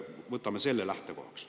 Võtame selle lähtekohaks.